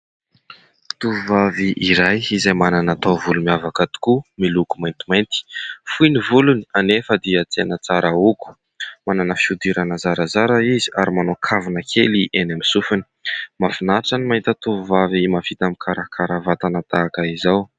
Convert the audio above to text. Tovovavy iray izay manana taovolo miavaka tokoa, miloko maintimainty .Fohy ny volony anefa dia tena tsara hogo. Manana fihodirana zarazara izy ary manao kavina kely eny amin'ny sofiny mahafinatra ny mahita tovovavy mahavita mikarakara vatana tahaka izao.